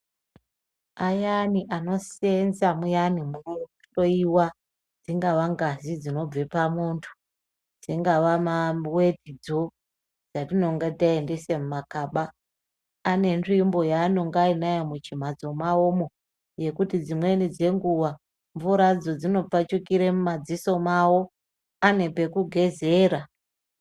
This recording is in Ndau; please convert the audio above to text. Ayani anosenza muyani munohloyiwa dsingaa ngazi dzinobve pamuntu dzingawa mawetidzo dzatinenge taendese mumagaba ane nzvimbo yaanenge ainayo muchimhatso mwawomwo yekuti dzimweni dzenguwa mvura dzo dzinopfachukire mumadziso mwawo ane pekugezera.